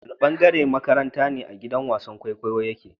Wanne ɓangare a maƙarantar ne giɗan wasan ƙwaiƙwayon yaƙe.?